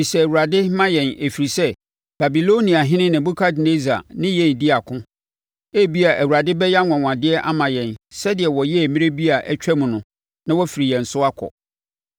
“Bisa Awurade, ma yɛn ɛfiri sɛ Babiloniahene Nebukadnessar ne yɛn rebɛdi ako. Ebia Awurade bɛyɛ anwanwadeɛ ama yɛn, sɛdeɛ ɔyɛɛ mmerɛ bi a atwam no na wafiri yɛn so akɔ.”